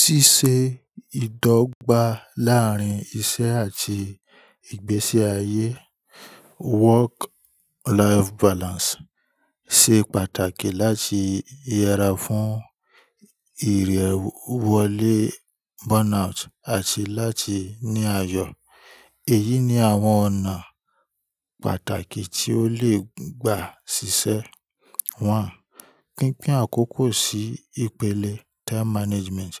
Ṣíṣe ìdọ́gba láàárín iṣẹ́ àti ìgbésí ayé, work-life balance, ṣe pàtàkì láti yẹra fún ìrèwọlé, burnout àti láti ní àyò. Èyí ni àwọn ọ̀nà pàtàkì tí ó lè gbà ṣiṣẹ́. One: Pínpín àkókò sí ìpele time management.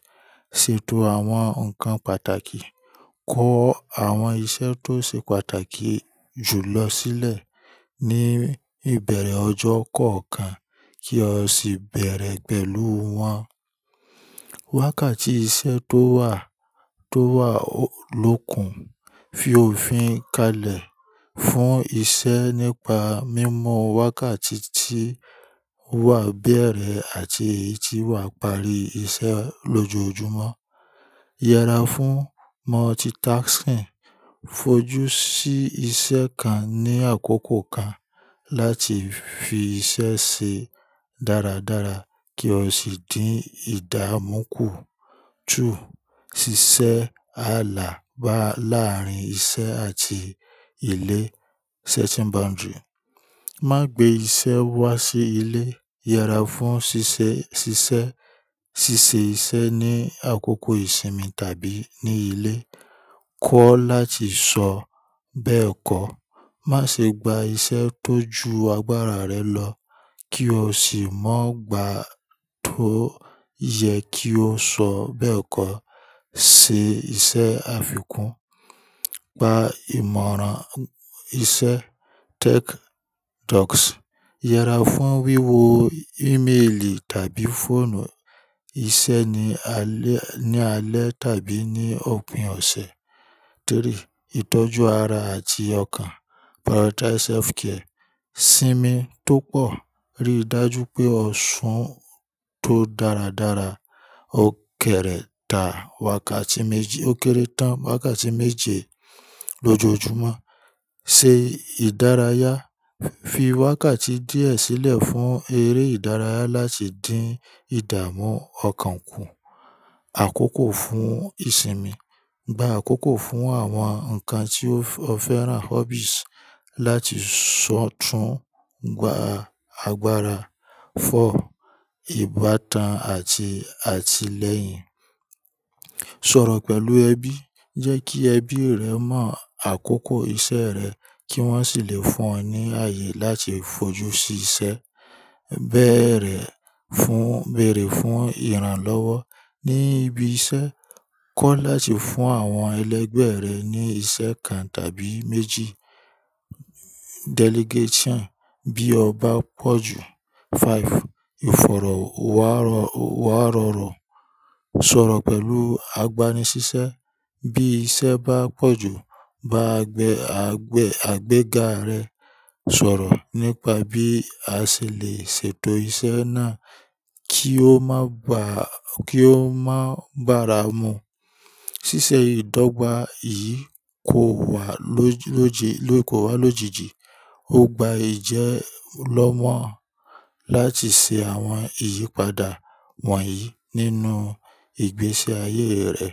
Sètò àwọn nǹkan pàtàkì. Kọ àwọn iṣẹ́ tó ṣe pàtàkì jù lọ sílẹ̀ ní ìbẹ̀rẹ̀ ọjọ́ kọ̀ọ̀kan kí o sì bẹ̀rẹ̀ pẹ̀lú wọn. Wákàtí iṣẹ́ tó wà, tó wà lókun. Fi òfin kalẹ̀ fún iṣẹ́ nípa mímọ wákàtí tí wà bẹ̀rẹ̀ àti eyi tí wà parí iṣẹ́ lójoojúmọ́. Yẹra fún multitasking. Fojú sí iṣẹ́ kan ní àkókò kan láti fi iṣẹ́ ṣe dáradára kí o sì dín ìdámú kù. Two: ṣíṣe àlà bá láàrín iṣẹ́ àti ilé, setting boundary. Má gbé iṣẹ́ wá sí ilé. Yẹra fún ṣíṣe, ṣíṣe, ṣíṣe iṣẹ́ ní àkókò ìsinmi tàbí ní ilé. Kọ́ láti sọ bẹ́ẹ̀kọ́. Má ṣe gba iṣẹ́ tó ju agbára rẹ lọ kí o sì má gbà tó yẹ kí ó sọ bẹ́ẹ̀kọ́. Ṣe iṣẹ́ àfikún. Gba ìmọ̀ràn iṣẹ́ tech docs. Yẹra fún wíwo ìmélì tàbí fóònù iṣẹ́ ní alẹ́, ní alẹ́ tàbí ní òpin ọ̀sẹ̀. Three: ìtọ́jú ara àti ọkàn, prioritize self care. Sinmi tó pọ̀. Rí i dájú pé o ṣún tó dáradára. O kèrétà wákàtí méjì, o kéré tán wákàtí méje lójoojúmọ́. Se ìdárayá. Fi wákàtí díẹ̀ sílẹ̀ fún eré ìdárayá láti dín ìdààmú ọkàn kù. Àkókò fún ìsinmi. Gba àkókò fún àwọn nǹkan tí o féràn, hobbies, láti ṣọ̀tún gba agbára. Four: ìbátan àti, àti lẹ́yìn. Sọ̀rọ̀ pẹ̀lú ẹbí. Jẹ́ kí ẹbí rẹ mọ àkókò iṣẹ́ rẹ kí wọ́n sì lè fún ọ ní ààyè láti fojú sí iṣẹ́. Bẹ̀erẹ̀ fún, bèèrè fún ìrànlọ́wọ́ ní ibi iṣẹ́. Kọ́ láti fún àwọn ẹlẹ́gbẹ̀ rẹ ní iṣẹ́ kan tàbí méjì. Delegation bí ọba pọ̀ jù. Five: ìfọ̀rọ̀wárọ̀wárọ̀rọ̀. Sọ̀rọ̀ pẹ̀lú agbani ṣiṣẹ́. Bí iṣẹ́ bá pọ̀ jù, bá gbẹ̀, agbẹ̀, àgbẹ̀ga rẹ sọ̀rọ̀ nípa bí a ṣè lè ṣètò iṣẹ́ náà kí ó má bà, kí ó má bàra mú. Ṣíṣe ìdọ́gba yìí kò wá lójẹ, kò wá lójijì. Ó gba ìjẹ́ lọ́mọ láti ṣe àwọn ìyípadà wọ̀nyí nínú ìgbésí ayé rẹ.